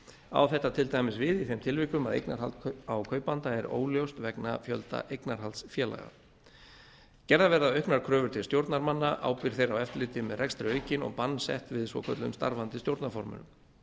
á þetta til dæmis við í þeim tilvikum að eignarhald á kaupanda er óljóst vegna fjölda eignarhaldsfélaga gerðar verða auknar kröfur til stjórnarmanna ábyrgð þeirra á eftirliti með rekstri aukin og bann sett við svokölluðum starfandi stjórnarformönnum